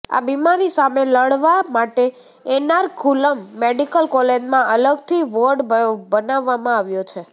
આ બીમારી સામે લડવા માટે એર્નાકુલમ મેડિકલ કોલેજમાં અલગથી વોર્ડ બનાવવામાં આવ્યો છે